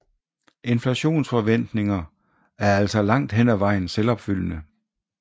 Inflationsforventninger er altså langt hen ad vejen selvopfyldende